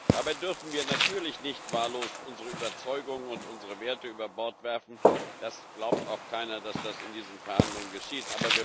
Dabei dürfen wir natürlich nicht wahllos unsere Überzeugungen und unsere Werte über Bord werfen, das glaubt auch keiner, dass das in diesen Verhandlungen geschieht.